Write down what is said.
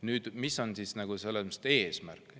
Nüüd, mis on eesmärk?